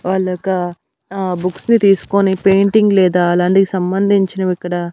వాళ్ళొక ఆ బుక్స్ ని తీస్కొని పెయింటింగ్ లేదా అలాంటికి సంబంధించినవిక్కడ--